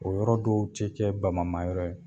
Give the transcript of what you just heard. O yɔrɔ dɔw te kɛ bamamayɔrɔ ye.